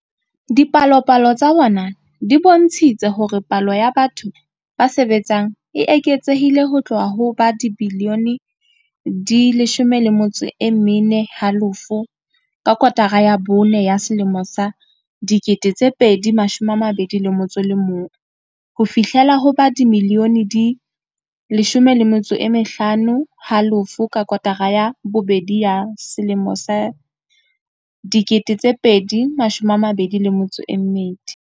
Dipalopalo tsa bona di bontshitse hore palo ya batho ba sebetsang e eketsehile ho tloha ho ba dimilione di 14.5 ka kotara ya bone ya 2021 ho fihlela ho ba dimilione di 15.5 ka kotara ya bobedi ya 2022.